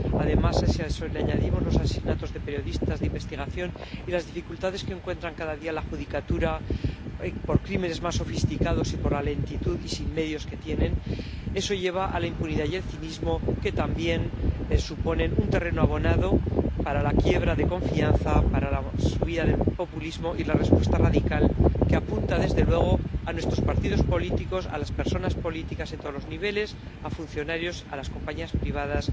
Además, si a eso le añadimos los asesinatos de periodistas de investigación y las dificultades que encuentra cada día la judicatura por unos crímenes más sofisticados y por la lentitud y la falta de medios que tienen, eso lleva a la impunidad y el cinismo, que también suponen un terreno abonado para la quiebra de confianza, para la subida del populismo y la respuesta radical, que apunta desde luego a nuestros partidos políticos, a las personas políticas en todos los niveles, a funcionarios, a las compañías privadas